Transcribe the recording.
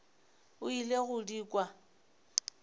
o ile go di kwa